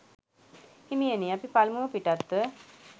හිමියනි, අපි පළමුව පිටත්ව